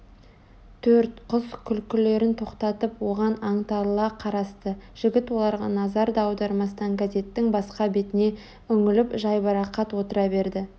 төрт қыз күлкілерін тоқтатып оған аңтарыла қарасты жігіт оларға назар да аудармастан газеттің басқа бетіне үңіліп жайбарақат отыра берді